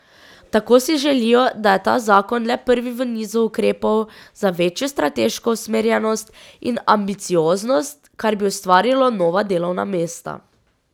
Tako si želijo, da je ta zakon le prvi v nizu ukrepov za večjo strateško usmerjenost in ambicioznost, kar bi ustvarilo nova delovna mesta.